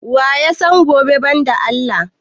Waya san gobe ban da Allah?